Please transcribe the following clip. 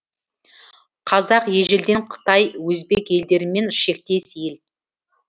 қазақ ежелден қытай өзбек елдерімен шектес ел